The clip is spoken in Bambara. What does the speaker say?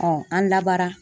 an labara.